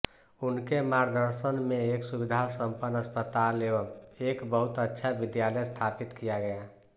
उनके मार्दर्शन में एक सुविधा संपन्न अस्पताल एवं एक बहुत अच्छा विद्यालय स्थापित किया गया